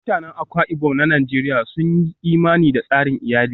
Mutanen Akwa Ibom na Najeriya sun yi imani da tsarin iyali